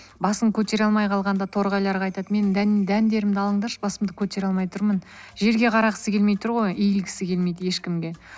басын көтере алмай қалғанда торғайларға айтады менің дәндерімді алыңдаршы басымды көтере алмай тұрмын жерге қарағысы келмей тұр ғой иілгісі келмейді ешкімге